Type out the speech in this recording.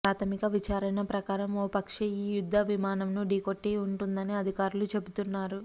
ప్రాథమిక విచారణ ప్రకారం ఓ పక్షి ఈ యుద్ధ విమానంను ఢీకొట్టి ఉంటుందని అధికారులు చెబుతున్నారు